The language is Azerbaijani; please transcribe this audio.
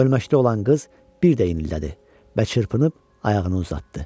Ölməkdə olan qız bir də inlədi və çırpınıb ayağını uzatdı.